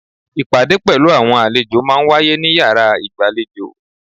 Ìpàdé pelu àwọn àlejò máa ń wáyé ní yàrá ìgbàlejò.